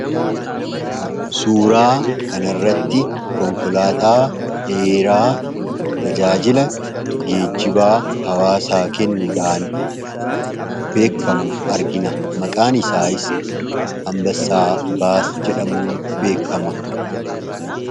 Suuraa kanarratti konkolaataa dheeraa tajaajila geejjibaa hawaasaa kennuudhaan beekkamu argina. Maqaan isaayis 'Ambassaa Baas' jedhamuun beekkama.